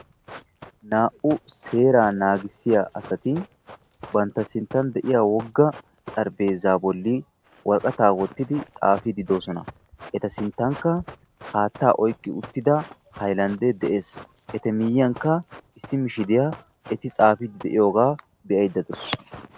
Naa"u seeraa naagissiya asati bantta sinttan de'iya wogga xarphpheezaa bolli worqqataa wottidi xaafidi eta sinttankka haattaa oyqqi uttidaa hayllanddee de'ees eti miyyiyankka issi mishshiriya eti tsaafiidi de'iyogaa be'ayda daawusu.